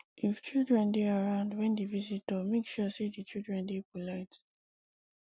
if children dey around when di visitor make sure sey di children dey polite